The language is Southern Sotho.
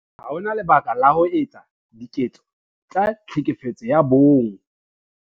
Ha ho na lebaka la ho etsa diketso tsa Tlhekefetso ya Bong